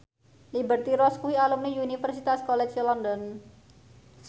Liberty Ross kuwi alumni Universitas College London